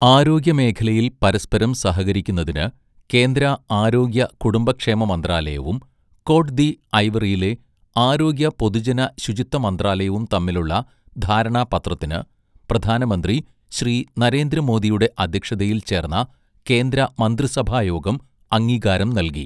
ആരോഗ്യമേഖലയിൽ പരസ്പരം സഹകരിക്കുന്നതിന് കേന്ദ്ര ആരോഗ്യ കുടുംബക്ഷേമ മന്ത്രാലയവും കോട്ട് ദി ഐവറിയിലെ ആരോഗ്യ പൊതുജന ശുചിത്വ മന്ത്രാലയവും തമ്മിലുള്ള ധാരണാപത്രത്തിന് പ്രധാനമന്ത്രി ശ്രീ നരേന്ദ്രമോദിയുടെ അദ്ധ്യക്ഷതയിൽ ചേർന്ന കേന്ദ്ര മന്ത്രിസഭായോഗം അംഗീകാരം നൽകി.